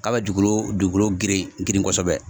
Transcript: K'a bɛ dugukolo dugukolo geren geren kosɛbɛ